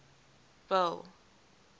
bill